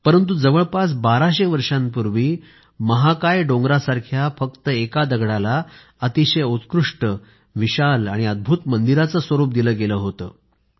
परंतु जवळपास बाराशे वर्षांपूर्वी महाकाय डोंगरासारख्या फक्त एका दगडाला अतिशय उत्कृष्ट विशाल आणि अद्भूत मंदिराचं स्वरूप दिलं गेलं होतं